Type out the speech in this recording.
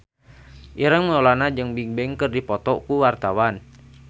Ireng Maulana jeung Bigbang keur dipoto ku wartawan